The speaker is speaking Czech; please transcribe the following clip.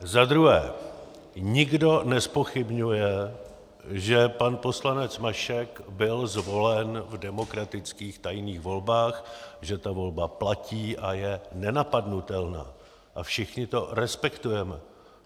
Za druhé, nikdo nezpochybňuje, že pan poslanec Mašek byl zvolen v demokratických tajných volbách, že ta volba platí a je nenapadnutelná, a všichni to respektujeme.